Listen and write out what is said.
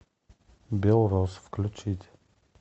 белрос включить